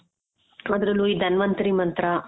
ಆದ್ರಲ್ಲೂ ಈ ಧನ್ವಂತರಿ ಮಂತ್ರ.